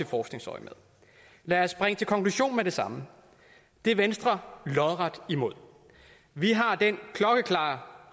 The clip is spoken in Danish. forskningsøjemed lad os springe til konklusionen med det samme det er venstre lodret imod vi har den klokkeklare